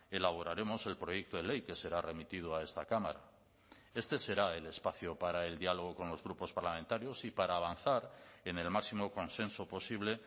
elaboraremos el proyecto de ley que será remitido a esta cámara este será el espacio para el diálogo con los grupos parlamentarios y para avanzar en el máximo consenso posible